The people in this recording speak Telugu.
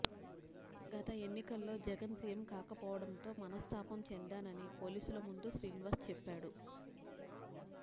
గత ఎన్నికల్లోజగన్ సీఎం కాకపోవడంతో మనస్తాపం చెందానని పోలీసుల ముందు శ్రీనివాస్ చెప్పాడు